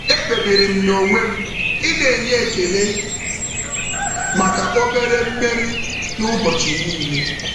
E kpebiri m n'onwe ị na-enye ekele maka obere mmeri n'ụbọchị niile.